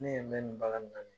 Ne yɛ bɛ nin baga min na ni ye